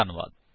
ਧੰਨਵਾਦ